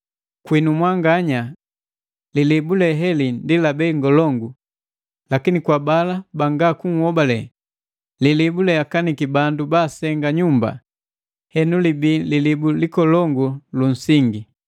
Kwinu mwanganya, lilibu le heli ndi la bei ngolongu; lakini kwa bala banga kunhobale, “Lilibu leakaniki bandu baasenga nyumba, henu libii lilibu likolongu lu nsingi.”